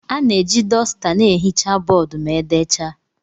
A na-eji dosta na-ehicha bọọdụ ma e decha.